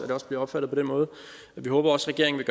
det også bliver opfattet på den måde vi håber også regeringen